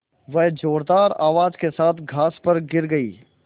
वह ज़ोरदार आवाज़ के साथ घास पर गिर गई